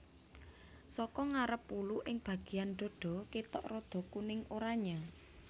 Saka ngarep wulu ing bagéyan dhadha kétok rada kuning oranyé